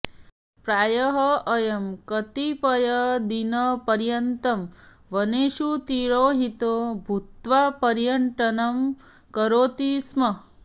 प्रायः अयं कतिपयदिनपर्यन्तं वनेषु तिरोहितो भूत्वा पर्यटनं करोति स्म